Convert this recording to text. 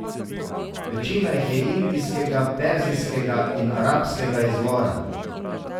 Večina jih je indijskega, perzijskega in arabskega izvora.